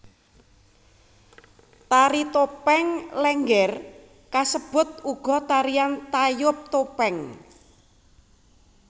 Tari topeng Lénggér kasebut uga tarian tayub topeng